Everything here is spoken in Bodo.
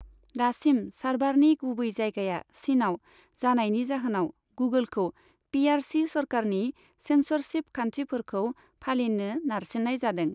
दासिम सार्भारनि गुबै जायगाया चिनआव जानायनि जाहोनाव गुगोलखौ पि आर सि सोरखारनि सेन्सरशिप खान्थिफोरखौ फालिनो नारसिननाय जादों।